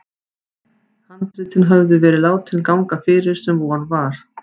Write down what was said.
Handritin höfðu verið látin ganga fyrir, sem von var.